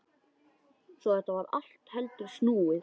Svo þetta var allt heldur snúið.